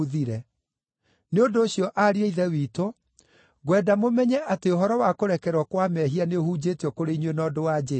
“Nĩ ũndũ ũcio, ariũ a Ithe witũ, ngwenda mũmenye atĩ ũhoro wa kũrekerwo kwa mehia nĩũhunjĩtio kũrĩ inyuĩ na ũndũ wa Jesũ.